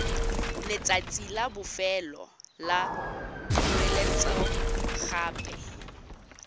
letsatsi la bofelo la poeletsogape